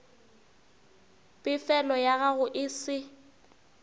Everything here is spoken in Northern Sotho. pefelo ya gago e se